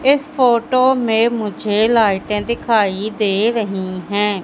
इस फोटो मे मुझे लाइटें दिखाई दे रही है।